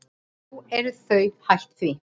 Nú eru þau hætt því.